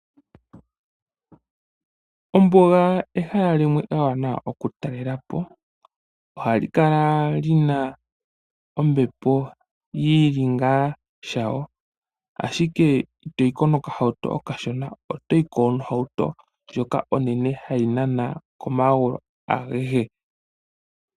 Ombuga ehala limwe ewanawa okutalela po. Ohali kala li na ombepo yi li ngaa shayo, ashike itoyi ko nokahauto okashona. Otoyi ko nohauto ndjoka onene hayi nana komagulu agehe.